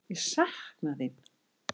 Ég sakna þín.